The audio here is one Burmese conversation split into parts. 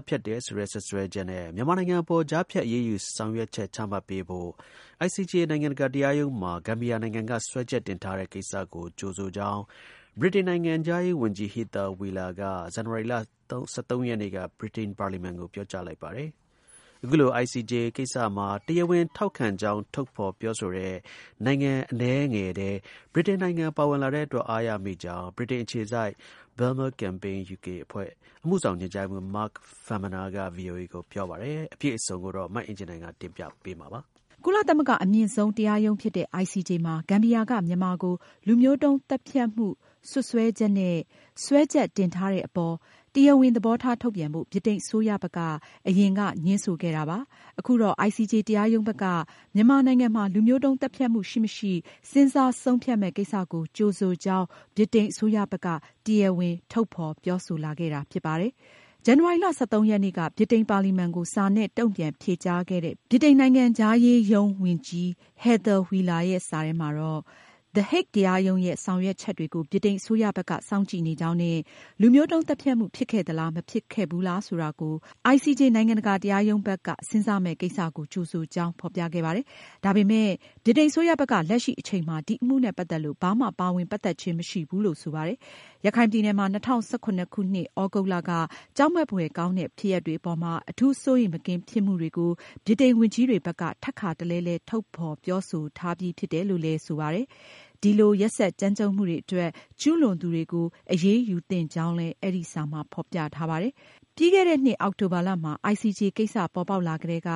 တ်ဖြတ်တယ်ဆိုတဲ့ စွပ်စွဲချက်နဲ့ မြန်မာအပေါ် ကြားဖြတ် အရေးယူဆောင်ရွက်ချက် ချမှတ်ပေးဖို့ ICJ နိုင်ငံတကာတရားရုံးမှာ ဂမ်ဘီယာနိုင်ငံက စွဲချက်တင်ထားတဲ့ကိစ္စကို ကြိုဆိုကြောင်း ဗြိတိန်နိုင်ငံခြားရေးရုံးဝန်ကြီး Heather Wheeler က ဇန်နဝါရီလ ၁၃ ရက်နေ့က ဗြိတိန်ပါလီမန်ကို ပြောကြားလိုက်ပါတယ်။ အခုလို ICJ ကိစ္စမှာ တရားဝင်ထောက်ခံကြောင်း ထုတ်ဖေါ်ပြောဆိုတဲ့ နိုင်ငံအနည်းငယ်ထဲ ဗြိတိန်ပါဝင်လာတဲ့အတွက် အားရမိကြောင်း ဗြိတိန်အခြေစိုက် Burma Campaign UK အဖွဲ့က အမှုဆောင်ညွန်ကြားရေးမှူး Mark Farmaner က ဗွီအိုအေကိုပြောပါတယ်။ အပြည့်အစုံကိုတော့ မအင်ကြင်းနိုင်က တင်ပြပေးမှာပါ။ ကုလသမဂ္ဂအမြင့်ဆုံး တရားရုံးဖြစ်တဲ့ ICJ မှာ ဂမ်ဘီယာက မြန်မာကို လူမျိုးတုံးသတ်ဖြတ်မှု စွပ် စွဲချက်နဲ့ စွဲချက်တင်ထားတဲ့အပေါ် တရားဝင်သဘောထား ထုတ်ပြန်ဖို့ ဗြိတိန်အစိုးရဘက်က အရင်က ငြင်းဆိုခဲ့တာပါ။ အခုတော့ ICJ တရားရုံးဘက်က မြန်မာနိုင်ငံမှာ လူမျိုးတုံးသတ်ဖြတ်မှုရှိမရှိ စဉ်းစားဆုံးဖြတ်မယ့်ကိစ္စကို ကြိုဆိုကြောင်း ဗြိတိန်အစိုးရဘက်က တရားဝင် ထုတ်ဖေါ်ပြောဆိုခဲ့တာ ဖြစ်ပါတယ်။ ဇန်နဝါရီလ (၁၃)ရက်နေ့က ဗြိတိန်ပါလီမန်ကို စာနဲ့တုံ့ပြန်ဖြေကြားခဲ့တဲ့ ဗြိတိန်နိုင်ငံခြားရေးရုံးဝန်ကြီး Heather Wheeler ရဲ့စာထဲမှာတော့- the Hague တရားရုံးရဲ့ ဆောင်ရွက်ချက်တွေကို ဗြိတိန်အစိုးရ ဘက်က စောင့်ကြည့်နေကြောင်းနဲ့ လူမျိုးတုံးသတ်ဖြတ်မှု ဖြစ်ခဲ့သလား၊ မဖြစ်ခဲ့ဘူးလား ဆိုတာကို ICJ နိုင်ငံတကာတရားရုံးဘက်က စဉ်းစားမှာကို ကြိုဆိုကြောင်း ဖေါ်ပြခဲ့ပါတယ်။ ဒါပေမယ့် ဗြိတိန်အစိုးရဘက်က လက်ရှိအချိန်မှာ ဒီအမှုနဲ့ ပတ်သက်လို့ ဘာမှ ပါဝင်ပတ်သက်ခြင်း မရှိဘူးလို့ ဆိုပါတယ်။ ရခိုင်ပြည်နယ်မှာ ၂၀၁၇ခုနှစ် သြဂုတ်လက ကြောက်မက်ဖွယ်ကောင်းတဲ့ ဖြစ်ရပ်တွေအပေါ်မှာ အထူးစိုးရိမ်မကင်းဖြစ်မှုတွေကို ဗြိတိန်ဝန်ကြီးတွေဘက်က ထပ်ခါတလဲလဲ ထုတ်ဖေါ်ပြောဆိုထားပြီးဖြစ်ပါတယ်။ ဒီလို ရက်စက်ကြမ်းကြုတ်မှုတွေအတွက် ကျူးလွန်သူတွေကို အရေးယူသင့်ကြောင်းလဲ အဲဒီစာမှာ ဖေါ်ပြထားပါတယ်။ ပြီးခဲ့တဲ့နှစ် အောက်တိုဘာလမှာ ICJ ကိစ္စပေါ်ပေါက်လာကတည်းက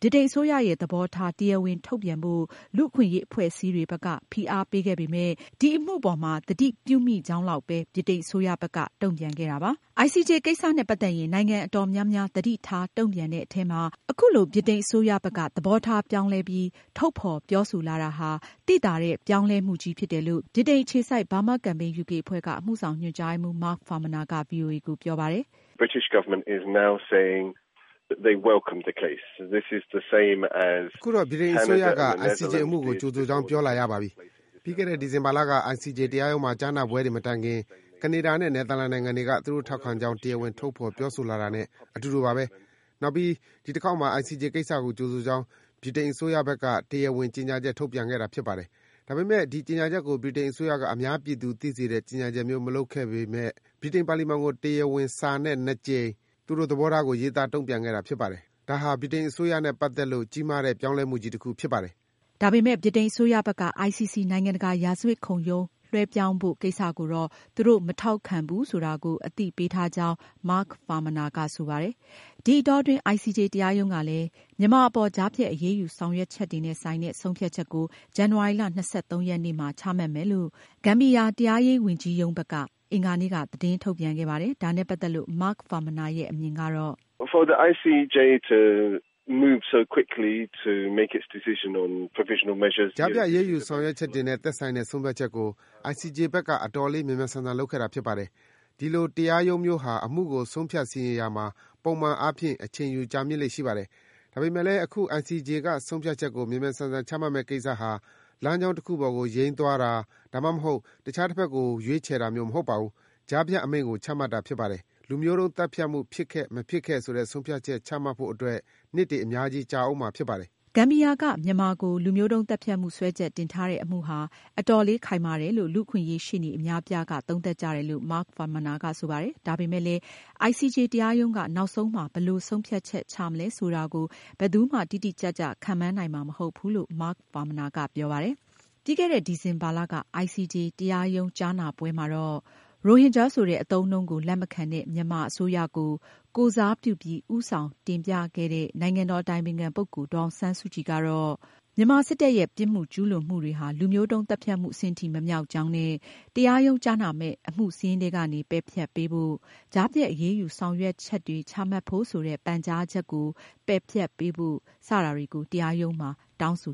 ဗြိတိန်အစိုးရရဲ့သဘောထား တရားဝင် ထုတ်ပြန်ဖို့ လူ့အခွင့်အရေးအဖွဲ့အစည်းတွေက ဖိအားပေးခဲ့ပေမဲ့ ဒီအမှုကို သတိပြုမိကြောင်း လောက်ပဲ ဗြိတိန်အစိုးရဘက်က တုံ့ပြန်ခဲ့တာပါ။ ICJ ကိစ္စနဲ့ပတ်သက်ရင် နိုင်ငံအတော်များများသတိထား တုံ့ပြန်တဲ့အထဲမှာ အခုလို ဗြိတိန်အစိုးရက သဘောထား ပြောင်းလဲပြီး တရားဝင် ထုတ်ဖေါ် ပြောလာတာဟာ သိသာတဲ့ ပြောင်းလဲမှုကြီးဖြစ်တယ်လို့ ဗြိတိန်အခြေစိုက် Burma Campaign UK အဖွဲ့ အမှုဆောင်ညွန်ကြားရေးမှူး Mark Farmaner က ဗွီအိုအေကိုပြောပါတယ်။ “အခုတော့ ဗြိတိန်အစိုးရက ICJ အမှုကို ကြိုဆိုကြောင်း ပြောလာရပါပြီ။ ပြီးခဲ့တဲ့ ဒီဇင်ဘာလက ICJ တရားရုံးမှာ ကြားနာပွဲတွေမတိုင်ခင် ကနေဒါနဲ့ နယ်သာလန်နိုင်ငံတွေက သူတို့ထောက်ခံကြောင်း တရားဝင် ထုတ်ဖေါ်ပြောဆိုလာတာနဲ့ အတူတူပါပဲ။ နောက်ပြီး ဒီတခေါက်မှာ ICJ ကိစ္စကို ကြိုဆိုကြောင်း ဗြိတိန်အစိုးရဘက်က တရားဝင်ကြေညာချက် ထုတ်ပြန်ခဲ့တာဖြစ်ပါတယ်။ ဒါပေမဲ့ ဒီ ကြေညာချက်ကို ဗြိတိန်အစိုးရက အများပြည်သူသိစေတဲ့ ကြေညာချက်မျိုး မလုပ်ခဲ့ပေမဲ့ ဗြိတိန်ပါလီမန်ကို တရားဝင်စာနဲ့ နှစ်ကြိမ် သူတို့သဘောထားကို ရေးသားတုံ့ပြန်ခဲ့တာဖြစ်ပါတယ်။ ဒါဟာ ဗြိတိန်အစိုးရနဲ့ပတ်သက်လို့ ကြီးမားတဲ့ ပြောင်းလဲမှုကြီးတခုဖြစ်ပါတယ်။” ဒီအတောအတွင်း ICJ တရားရုံးကလည်း မြန်မာအပေါ် ကြားဖြတ်အရေးယူဆောင်ရွက်ချက်တွေနဲ့ ဆိုင်တဲ့ ဆုံးဖြတ်ချက်ကို ဇန်နဝါရီလ ၂၃ ရက်နေ့မှာ ချမှတ်မယ်လို့ ဂမ်ဘီယာတရားရေးဝန်ကြီးရုံးက အင်္ဂါနေ့က သတင်းထုတ်ပြန်ခဲ့ပါတယ်။ ဒါနဲ့ပတ်သက်လို့ Mark Farmaner ရဲ့ အမြင်ကတော့ “ကြားဖြတ်အရေးယူဆောင်ရွက်ချက်တွေနဲ့ ဆိုင်တဲ့ ဆုံးဖြတ်ချက်ကို ICJ ဘက်က အတော်လေး မြန်မြန်ဆန်ဆန် လုပ်ခဲ့တာဖြစ်ပါတယ်။ ဒီလိုတရားရုံးမျိုးဟာ အမှုကို ဆုံးဖြတ်စီရင်ရာမှာ ပုံမှန်အားဖြင့် အချိန်ယူကြာမြင့်လေ့ရှိပါတယ်။ ဒါပေမဲ့လည်း အခု ICJ က ဆုံးဖြတ်ချက်ကို မြန်မြန်ဆန်ဆန် ချမှတ်မယ့်ကိစ္စဟာ လမ်းကြောင်းတခုပေါ်ကို ယိမ်းသွားတာ၊ ဒါမှမဟုတ် အခြားတဘက်ကို ရွေးချယ်တာ မျိုးမဟုတ်ပါဘူး။ ကြားဖြတ်အမိန့်ကို ချမှတ်တာဖြစ်ပါတယ်။ လူမျိုးတုံးသတ်ဖြတ်မှု ဖြစ်ခဲ့၊ မဖြစ်ခဲ့ဆိုတဲ့ ဆုံးဖြတ်ချက်ချမှတ်ဖို့အတွက် နှစ်တွေအများကြီး ကြာအုံးမှာဖြစ်ပါတယ်။” ဂမ်ဘီယာက မြန်မာကို လူမျိုးတုံးသတ်ဖြတ်မှု စွဲချက်တင်ထားတဲ့အမှုဟာ အတော်လေးခိုင်မာတယ်လို့ လူ့အခွင့်အရေးရှေ့နေ အများအပြားက သုံးသပ်ကြတယ်လို့ Mark Farmaner ကဆိုပါတယ်။ ဒါပေမယ့်လည်း ICJ တရားရုံးက နောက်ဆုံးမှာ ဘယ်လိုဆုံးဖြတ်ချက်ချမလဲဆိုတာကို ဘယ်သူမှ တိတိကျကျခန့်မှန်းနိုင်မှာ မဟုတ်ဘူးလို့ Mark Farmaner ကပြောပါတယ်။ ပြီးခဲ့တဲ့ ဒီဇင်ဘာလက ICJ တရားရုံးကြားနာပွဲမှာ ရိုဟင်ဂျာဆိုတဲ့ အသုံးအနှုန်းကို လက်မခံတဲ့ မြန်မာအစိုးရကို ကိုယ်စားပြုပြီး ဦးဆောင်တင်ပြခဲ့တဲ့ နိုင်ငံတော်အတိုင်ပင်ခံပုဂ္ဂိုလ် ဒေါ်အောင်ဆန်းစုကြည်ကတော့ မြန်မာစစ်တပ်ရဲ့ ပြစ်မှုကျူးလွန်မှုတွေဟာ လူမျိုးတုံးသတ်ဖြတ်မှုအဆင့်ထိ မမြောက်ကြောင်းနဲ့ တရားရုံးကြားနာမယ့် အမှုစာရင်းထဲက ပယ်ဖျက်ပေးဖို့၊ ကြားဖြတ်အရေးယူဆောင်ရွက်တွေချမှတ်ဖို့ဆိုတဲ့ ဂမ်ဘီယာနိုင်ငံရဲ့ ပန်ကြားချက်ကို ပယ်ဖျက်ဖို့ စတဲ့အချက်တွေကို တရားရုံးကို တောင်းဆို